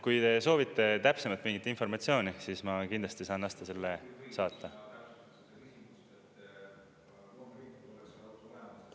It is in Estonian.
Kui te soovite täpsemalt mingit informatsiooni, siis ma kindlasti saan selle saata.